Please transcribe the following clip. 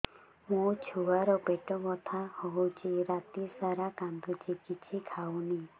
ମୋ ଛୁଆ ର ପେଟ ବଥା ହଉଚି ରାତିସାରା କାନ୍ଦୁଚି କିଛି ଖାଉନି